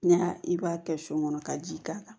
N'i y'a i b'a kɛ so kɔnɔ ka ji k'a kan